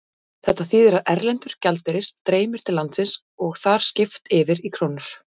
Þetta þýðir að erlendur gjaldeyrir streymir til landsins og er þar skipt yfir í krónur.